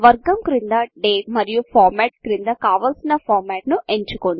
వర్గం క్రింద డేట్ మరియు ఫార్మాట్ క్రింద కావలసిన ఫార్మట్ను ఎంచుకోండి